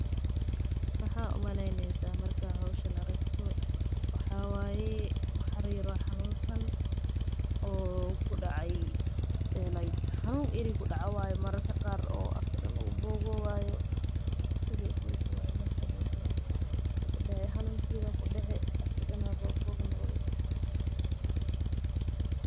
Waxaa umaleyneysa markaad howshan aragto halkan waxaa kasocdaa meeshan waxaan arkaaya dad badan oo somaliyeed.